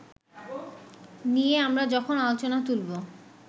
নিয়ে আমরা যখন আলোচনা তুলবো